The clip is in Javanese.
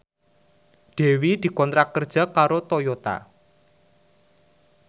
Dewi dikontrak kerja karo Toyota